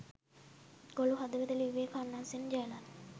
ගොළු හදවත ලිව්වෙ කරුණාසේන ජයලත්?